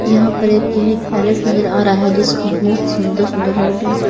यहां पर एक यह एक पैलेस नजर आ रहा है जिसको बहुत सुंदर सुंदर लड़कियों से--